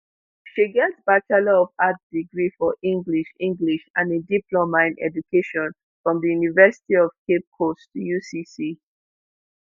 she get bachelor of arts degree for english english and a diploma in education from di university of cape coast ucc